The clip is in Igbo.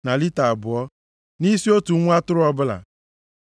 na lita abụọ, nʼisi otu nwa atụrụ ọbụla.